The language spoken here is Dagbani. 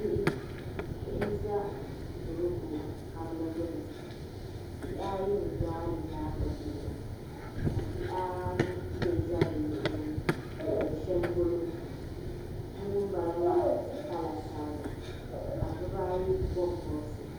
Bihi n-za toroko kabili gbuni bihi ayi n-gbaai be nyaaŋa gbubi la ka bihi anu mii za di luɣili ni n-lihiri shɛli polo bi'ŋun bala maa pala sariga ka dibaayi bɔbi bɔbisi.